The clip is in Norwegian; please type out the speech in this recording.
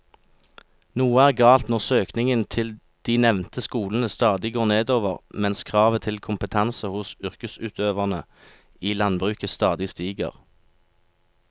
Noe er galt når søkningen til de nevnte skolene stadig går nedover mens kravet til kompetanse hos yrkesutøverne i landbruket stadig stiger.